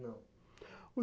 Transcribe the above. Não.